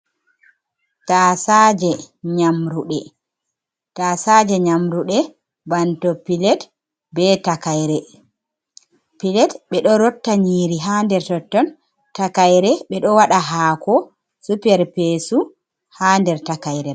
Tasaje nyamrude tasaje nyamrude banto pilet be takaire, pilet be ɗo rotta nyiri ha nder totton takayre be do waɗa hako su perpesu ha nder takaire.